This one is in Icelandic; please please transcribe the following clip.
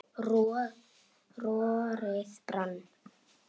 roðið brann